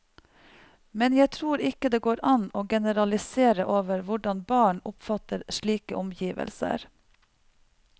Men jeg tror ikke det går an å generalisere over hvordan barn oppfatter slike omgivelser.